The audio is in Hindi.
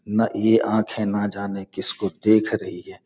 न इ आँख है न जाने किसको देख रही है।